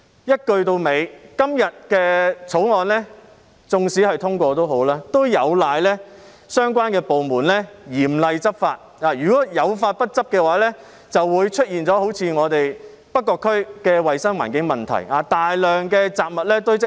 一句到尾，今天的《條例草案》縱使獲得通過，亦有賴相關部門嚴厲執法，如果有法不執，就會出現好像我們北角區的衞生環境問題。